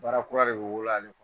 Bara kura de bi bolo yan